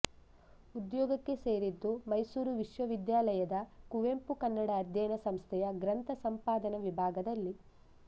ಉದ್ಯೋಗಕ್ಕೆ ಸೇರಿದ್ದು ಮೈಸೂರು ವಿಶ್ವವಿದ್ಯಾಲಯದ ಕುವೆಂಪು ಕನ್ನಡ ಅಧ್ಯಯನ ಸಂಸ್ಥೆಯ ಗ್ರಂಥ ಸಂಪಾಧನ ವಿಭಾಗದಲ್ಲಿ